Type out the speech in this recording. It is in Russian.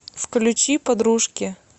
включи подружки